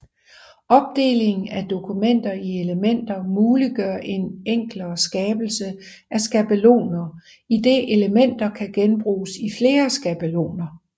Opdeling af dokumenter i elementer muliggør en enklere skabelse af skabeloner idet elementer kan genbruges i flere skabeloner